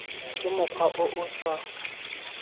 ka mokgwa o o sa